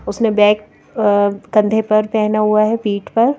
उसने बैग कंधे पर पहना हुआ है पीठ पर--